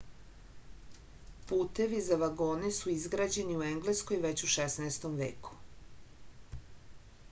putevi za vagone su izgrađeni u engleskoj već u 16. veku